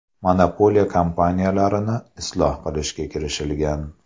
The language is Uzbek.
Monopoliya kompaniyalarni isloh qilishga kirishilgan.